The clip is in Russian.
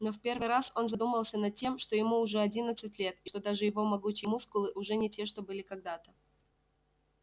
но в первый раз он задумался над тем что ему уже одиннадцать лет и что даже его могучие мускулы уже не те что были когда-то